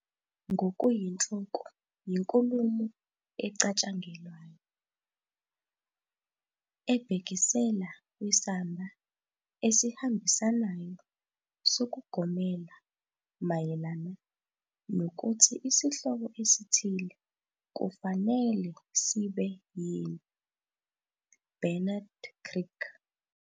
Ngokuyinhloko yinkulumo ecatshangelwayo, "ebhekisela kwisamba esihambisanayo sokugomela mayelana nokuthi isihloko esithile kufanele sibe yini", Bernard Crick.